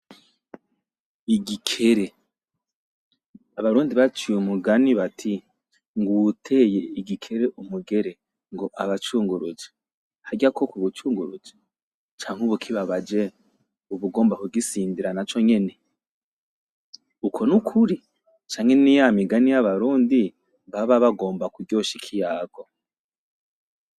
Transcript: Igikere, abarundi baciye umugani bati ng'uwuteye igikere umugere ngo aba acunguruje. Harya koko uba ucunguruje? Canke ub'ukibabaje; ub'ugomba kugisindira naco nyene? Uko nukuri? Canke niya migani yab'abarundi baba bagomba kuryosha ikiyago.